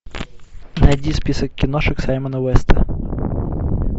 найди список киношек саймона уэста